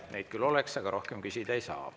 Neid küll oleks, aga rohkem küsida ei saa.